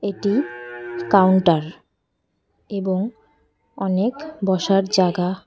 এটি কাউন্টার এবং অনেক বসার জাগা ।